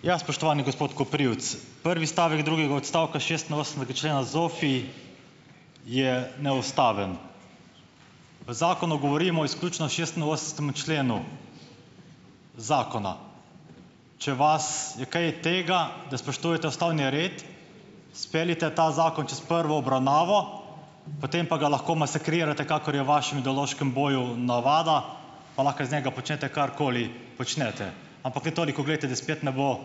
Ja, spoštovani gospod Koprivc, prvi stavek drugega odstavka šestinosemdesetega člena ZOFVI, je neustaven. V zakonu govorimo izključno o šestinosemdesetemu členu zakona. Če vas je kaj tega, da spoštujete ustavni red, speljite ta zakon čez prvo obravnavo, potem pa ga lahko masakrirate, kakor je v vašem ideološkem boju navada, pa lahko iz njega počnete, karkoli počnete, ampak le toliko glejte, da spet ne bo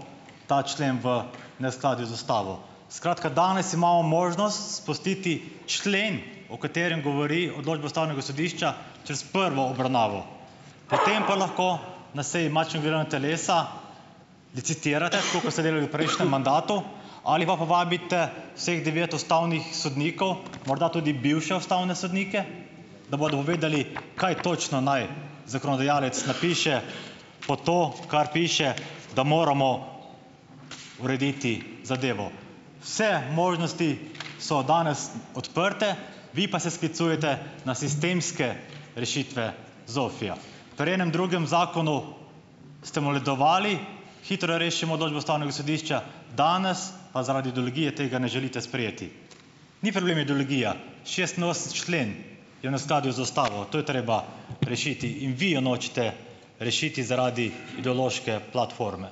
ta člen v neskladju z ustavo. Skratka, danes imamo možnost spustiti člen, o katerem govori odločba ustavnega sodišča, čez prvo obravnavo. Potem pa lahko na seji matičnega delovna telesa licitirate, tako ko ste delali v prejšnjem mandatu, ali pa povabite vseh devet ustavnih sodnikov, morda tudi bivše ustavne sodnike, da bodo uvedeli, kaj točno naj zakonodajalec napiše pod to, kar piše, da moramo urediti zadevo. Vse možnosti so danes odprte, vi pa se sklicujete na sistemske rešitve ZOFVI-ja. Pri enem drugem zakonu ste moledovali: Hitro rešimo odločbe ustavnega sodišča," danes pa zaradi ideologije tega ne želite sprejeti. Ni problem ideologija, šestinosemdeseti člen je v neskladju z ustavo. To je treba rešiti in vi jo nočete rešiti zaradi ideološke platforme.